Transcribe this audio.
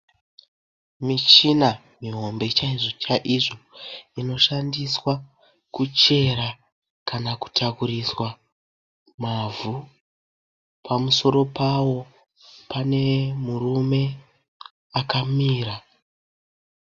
Michina mihombe chaizvo chaizvo. Inoshandiswa kuchera kana kutakuriswa mavhu. Pamusoro pawo pane murume akamira.